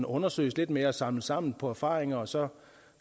undersøges lidt mere og samles sammen på erfaringer og så